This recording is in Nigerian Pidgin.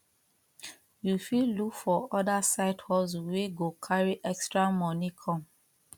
you fit look for other side hustle wey go carry extra money come